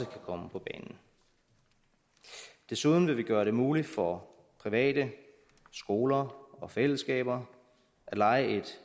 komme på banen desuden vil vi gøre det muligt for private skoler og fællesskaber at leje et